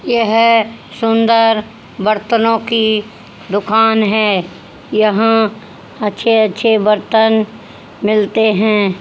यह सुंदर बर्तनों की दुकान है। यहां अच्छे अच्छे बर्तन मिलते हैं।